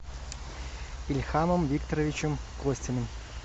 ильхамом викторовичем костиным